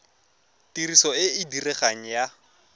tiriso e e diregang ya